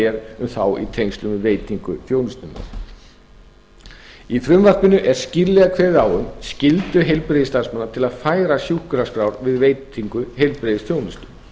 er um þá í tengslum við veitingu þjónustunnar í frumvarpinu er skýrlega kveðið á um skyldu heilbrigðisstarfsmanna til að færa sjúkraskrár við veitingu heilbrigðisþjónustu